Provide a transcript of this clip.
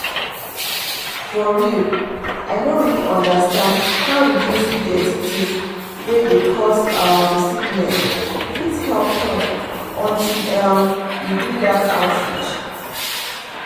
for real i no really understand how reducing dirty things wey dey cause um sickness fit help health until um we do that outreach.